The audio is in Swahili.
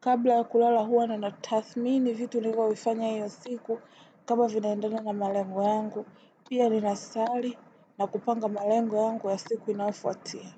Kabla ya kulala huwa ni na tathmini vitu nilivyovifanya hiyo siku kama vinaendana na malengo yangu, pia ninasali na kupanga malengo yangu ya siku inayofuatia.